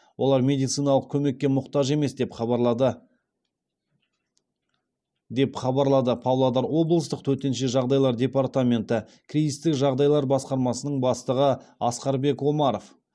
олар медициналық көмекке мұқтаж емес деп хабарлады деп хабарлады павлодар облыстық төтенше жағдайлар департаменті кризистік жағдайлар басқармасының бастығы асқарбек омаров